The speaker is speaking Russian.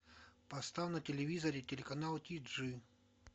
поставь на телевизоре телеканал тиджи